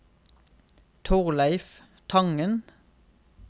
Torleif Tangen